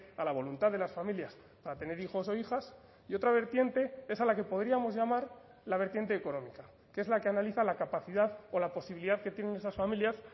a la voluntad de las familias a tener hijos o hijas y otra vertiente es a la que podríamos llamar la vertiente económica que es la que analiza la capacidad o la posibilidad que tienen esas familias